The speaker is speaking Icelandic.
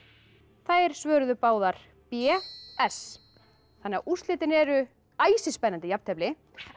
þær svöruðu báðar b s úrslitin eru æsispennandi jafntefli en